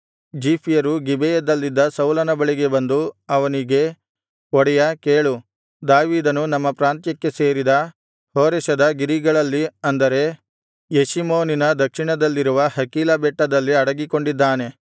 ಜೀಫ್ಯರು ಗಿಬೆಯಲ್ಲಿದ್ದ ಸೌಲನ ಬಳಿಗೆ ಬಂದು ಅವನಿಗೆ ಒಡೆಯಾ ಕೇಳು ದಾವೀದನು ನಮ್ಮ ಪ್ರಾಂತ್ಯಕ್ಕೆ ಸೇರಿದ ಹೋರೆಷದ ಗಿರಿಗಳಲ್ಲಿ ಅಂದರೆ ಯೆಷಿಮೋನಿನ ದಕ್ಷಿಣದಲ್ಲಿರುವ ಹಕೀಲಾ ಬೆಟ್ಟದಲ್ಲಿ ಅಡಗಿಕೊಂಡಿದ್ದಾನೆ